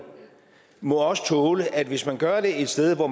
må også tåle at hvis man gør det et sted hvor